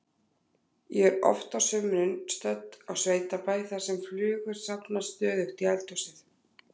Ég er oft á sumrin stödd á sveitabæ þar sem flugur safnast stöðugt í eldhúsið.